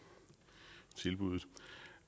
tilbuddet